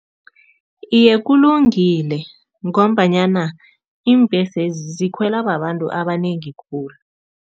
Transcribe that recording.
Iye, kulungile ngombanyana iimbhesezi zikhwela babantu abanengi khulu.